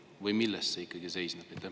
Või milles see ikkagi seisneb?